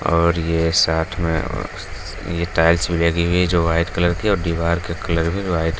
और ये साथ में ये टाइल्स भी लगी है जो वाइट कलर की है और दिवार का कलर भी वाइट --